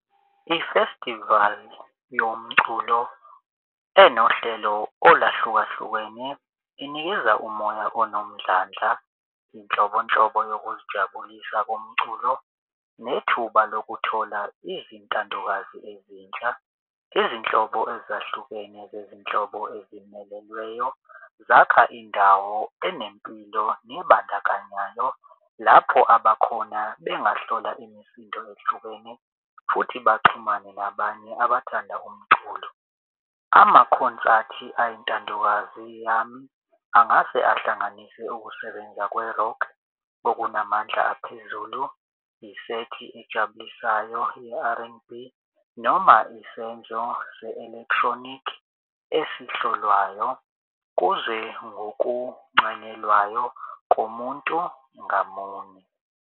Ifestivali yomculo enohlelo olahlukahlukene inikeza umoya anomdlandla, iy'nhlobonhlobo yokuzijabulisa komculo, nethuba lokuthola izintandokazi ezintsha izinhlobo ezahlukene zezinhlobo ezimelelweyo zakha indawo enempilo nebandakanyayo lapho abakhona bengahlola imisindo ehlukene futhi baxhumane nabanye abathanda umculo. Amakhonsathi ayintandokazi yami, angase ahlanganise ukusebenza kwe-rock okunamandla aphezulu isethi ejabulisayo i-R_N_B noma isenzo se-electronic esihlolwayo kuze ngokuncanyelwayo komuntu ngamunye.